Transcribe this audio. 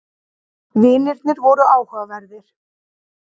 Vinirnir voru áhugaverðir.